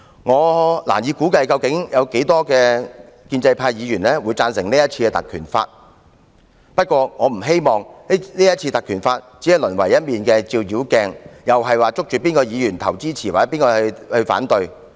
我難以估計有多少建制派議員支持是次的議案，但我不希望議案只淪為一面照妖鏡，再次凸顯哪位議員支持，或誰反對。